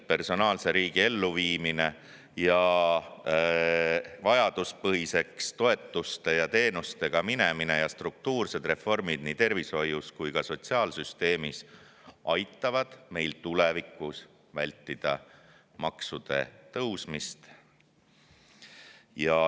Personaalse riigi elluviimine, toetuste ja teenustega vajaduspõhiseks minemine ning struktuursed reformid nii tervishoius kui ka sotsiaalsüsteemis aitavad meil tulevikus ilmselt vältida maksude tõusmist.